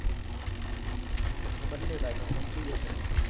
ticket ખબર નઈ પણ સસ્તી હશે ને